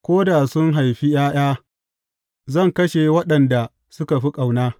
Ko da sun haifi ’ya’ya zan kashe waɗanda suka fi ƙauna.